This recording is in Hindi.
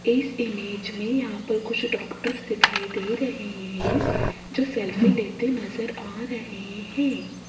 इस इमेज में यहां पर कुछ डॉक्टर्स दिखाई दे रहे हैं जो सेल्फी लेते नजर आ रहे हैं।